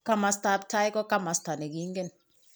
Kamastab tai, ko kamasta ne kingen.